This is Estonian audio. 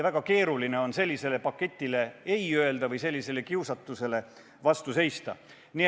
Väga keeruline on sellisele paketile ei öelda või sellisele kiusatusele vastu seista.